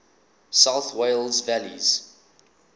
south wales valleys